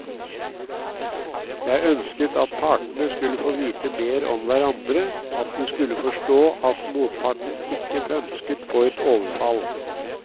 Jeg ønsket at partene skulle få vite mer om hverandre, at de skulle forstå at motparten ikke pønsket på et overfall.